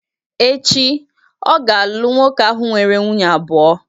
Echi, ọ ga-alụ nwoke ahụ nwere nwunye abụọ